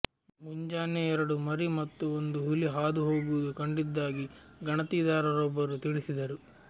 ಮುಂಜಾನೆ ಎರಡು ಮರಿ ಮತ್ತು ಒಂದು ಹುಲಿ ಹಾದು ಹೋಗುವುದು ಕಂಡಿದ್ದಾಗಿ ಗಣತಿದಾರರೊಬ್ಬರು ತಿಳಿಸಿದರು